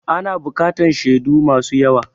Ana buƙatan shedu masu yawa